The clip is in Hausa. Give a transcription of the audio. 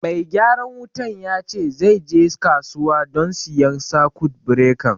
Mai gyaran wutan ya ce zai je kasuwa don siyan sakut birekan